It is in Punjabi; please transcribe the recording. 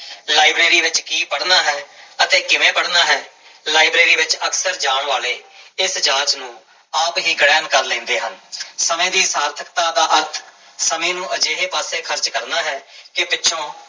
ਲਾਇਬ੍ਰੇਰੀ ਵਿੱਚ ਕੀ ਪੜ੍ਹਨਾ ਹੈ ਅਤੇ ਕਿਵੇਂ ਪੜ੍ਹਨਾ ਹੈ, ਲਾਇਬ੍ਰੇਰੀ ਵਿੱਚ ਅਕਸਰ ਜਾਣ ਵਾਲੇ ਇਸ ਜਾਂਚ ਨੂੰ ਆਪ ਹੀ ਗ੍ਰਹਿਣ ਕਰ ਲੈਂਦੇ ਹਨ ਸਮੇਂ ਦੀ ਸਾਰਥਕਤਾ ਦਾ ਅਰਥ ਸਮੇਂ ਨੂੰ ਅਜਿਹੇ ਪਾਸੇ ਖ਼ਰਚ ਕਰਨਾ ਹੈ ਕਿ ਪਿੱਛੋਂ